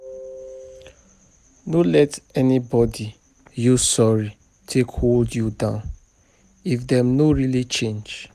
No let anybody use sorry take hold you down if dem no really change.